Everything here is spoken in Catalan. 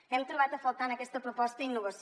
hem trobat a faltar en aquesta proposta innovació